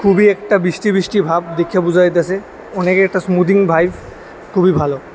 খুবই একটা বৃষ্টি বৃষ্টি ভাব দেইখা বুঝা যাইতেছে অনেকে একটা ইসমুদিং ভাইব খুবই ভালো।